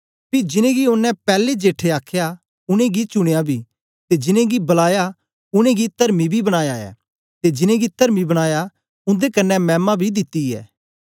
पी जिनेंगी ओनें पैलैं जेठे आखया उनेंगी चुनयां बी ते जिनेंगी बलाया उनेंगी तरमी बी बनाया ऐ ते जिनेंगी तरमी बनाया उन्दे कन्ने मैमा बी दिती ऐ